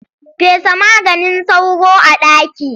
Fesa maganin sauro a ɗaki.